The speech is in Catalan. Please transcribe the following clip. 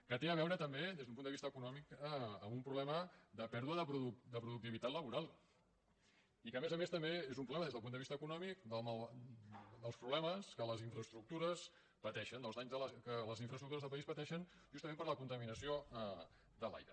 que té a veure també des d’un punt de vista econòmic amb un problema de pèrdua de productivitat laboral i que a més a més també és un problema des del punt de vista econòmic dels problemes que les infraestructures pateixen dels danys que les infraestructures del país pateixen justament per la contaminació de l’aire